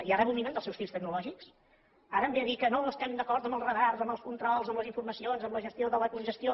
i ara abominen dels seus fills tecnològics ara em ve a dir que no estem d’acord amb els radars amb els controls amb les informacions amb la gestió de la congestió